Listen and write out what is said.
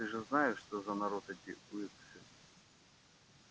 ты же знаешь что за народ эти уилксы